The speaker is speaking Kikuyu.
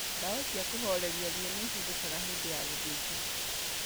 Ndawa cia kũhoreria ruo nĩihũthĩkaga hĩndĩ ya gũthĩnjwo